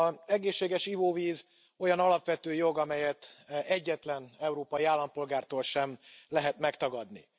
Az egészséges ivóvíz olyan alapvető jog, amelyet egyetlen európai állampolgártól sem lehet megtagadni.